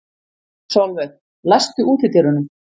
Solveig, læstu útidyrunum.